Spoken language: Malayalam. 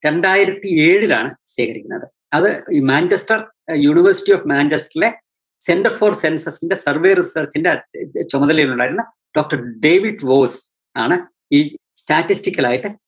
രണ്ടായിരത്തി ഏഴിലാണ് ശേഖരിക്കുന്നത്. അത് മാഞ്ചസ്റ്റര്‍, യൂണിവേഴ്സിറ്റി ഓഫ് മാഞ്ചസ്റ്ററിലേ സെൻറർ ഫോർ സെൻസെക്സിന്റെ survey research ന്റെ അഹ് ചു~ചുമതലയിലുണ്ടായിരുന്ന doctor ഡേവിഡ്‌ വോൾഫ് ആണ് ഈ statistical ലായിട്ട്